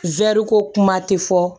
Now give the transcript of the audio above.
ko kuma tɛ fɔ